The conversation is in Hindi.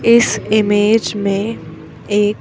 इस इमेज में एक--